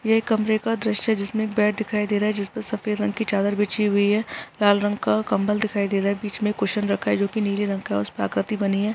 ये कमरे का दृश्य जिसमे बेड दिखाई दे रहा है जिसपे सफेद रंग की चादर बिछी हुई है लाल रंग का कंबल दिखाई दे रहा है बीच में कुशन रखा है जो की नीले रंग का हैउसपर आकृती बनी है ।